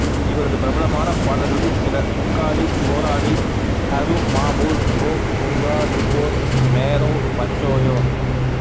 இவரது பிரபலமான பாடல்களில் சில உக்காலி ஓராலி ஹரு மா பூல் கோ துங்கா நிர்தோஷ் மேரோ பச்சயோ